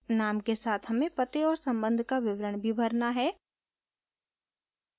नाम के साथ हमें पते और संबंध का विवरण भी भरना है